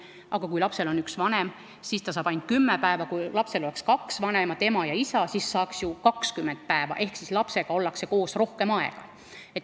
Aga kui lapsel on üks vanem, siis saab see vanem ainult kümme päeva, kui lapsel aga oleks kaks vanemat, ema ja isa, siis saaksid nad ju 20 päeva ehk lapsega ollakse siis koos rohkem aega.